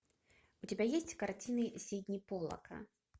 у тебя есть картины сидни поллака